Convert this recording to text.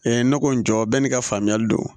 nɔgɔ jɔ bɛ n'i ka faamuyali don